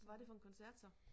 Var det for en koncert så